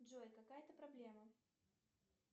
джой какая то проблема